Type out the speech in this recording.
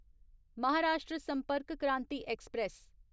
Maharashtra Sampark Kranti express